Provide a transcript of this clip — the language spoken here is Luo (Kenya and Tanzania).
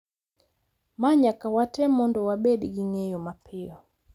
Ma nyaka watem mondo wabed gi ng’eyo mapiyo.